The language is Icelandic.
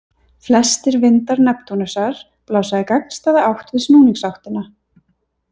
Flestir vindar Neptúnusar blása í gagnstæða átt við snúningsáttina.